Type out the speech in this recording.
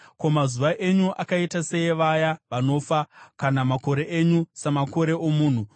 Ko, mazuva enyu akaita seavaya vanofa, kana makore enyu samakore omunhu,